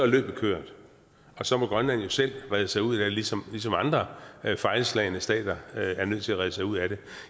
løbet kørt og så må grønland jo selv redde sig ud af det ligesom andre fejlslagne stater er nødt til at redde sig ud af det